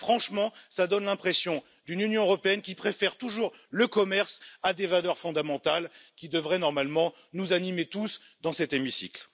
Franchement, ça donne l'impression d'une Union européenne qui préfère toujours le commerce à des valeurs fondamentales qui devraient normalement tous nous animer dans cet hémicycle.